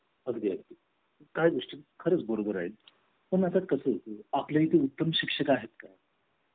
अगदी अगदी काही गोष्टी खर्च बरोबर आहे पण आता कसं आपल्या इथे उत्तम शिक्षक आहेत का